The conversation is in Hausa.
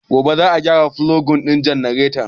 Gobe za a gyara fulogin janaretar